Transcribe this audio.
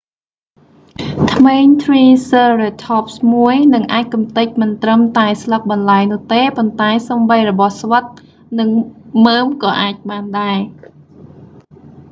ធ្មេញtriceratopsមួយ នឹងអាចកំទេចមិនត្រឹមតែស្លឹកបន្លែនោះទេប៉ុន្តែសូម្បីរបស់ស្វិតនិងមើមក៏អាចបានដែរ។